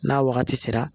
N'a wagati sera